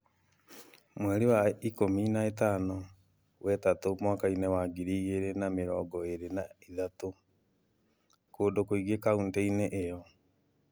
Mweri wa ikumi na ĩtano, wetatũ, mwaka-inĩ wa ngiri igĩrĩ na mĩrongo ĩrĩ na ĩtatũ, kũndũ kũingĩ kauntĩ-inĩ ĩyo.